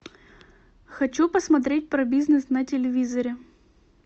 хочу посмотреть про бизнес на телевизоре